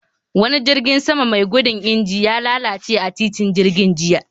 Wani jirgin sama mai mugun injin, ya lalace a titin jirgin jiya